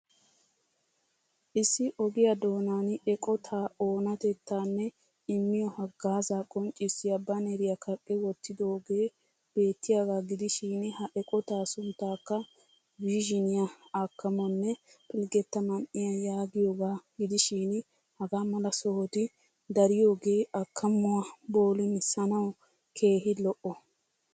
Issi ogiya doonan eqotaa oonatettaanne immiyo haggaazaa qonccissiya baaneriya kaqqi wottidoogee beettiyaagaa gidishiin ha eqotaa sunttaakka vizhzhiniya akkamonne pilgetta man'iya yagiyagaa gidishiin hagaa mala sohoti dariyoogee akkamuwa boolummisanawu keehii lo'o.